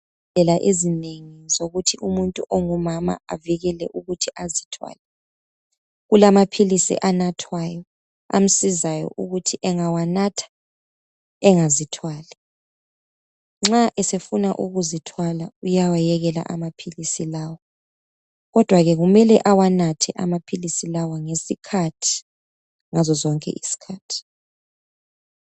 Izibhedlela ezinengi zokuthi umuntu ongumama avikele ukuthi azithwale kulamaphilisi anathwayo amsizayo ukuthi engawanatha engazithwali nxa esefuna ukuzithwala uyawayekela amaphilisi lawa kodwa kekumele ewanathe amaphilisi lawa ngesiKhathi ngazo zonke izikhathi